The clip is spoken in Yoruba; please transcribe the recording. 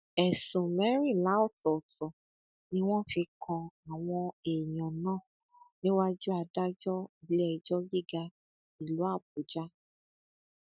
ẹsùn mẹrìnlá ọtọọtọ ni wọn fi kan àwọn èèyàn náà níwájú adájọ iléẹjọ gíga ìlú àbújá